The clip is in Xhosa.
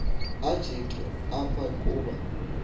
ajenxe apha kuba